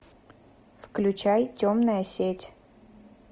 включай темная сеть